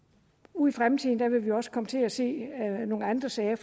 ude i fremtiden vil vi også komme til at se nogle andre sager